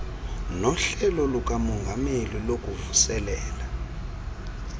nohlelo lukamongameli lokuvuselela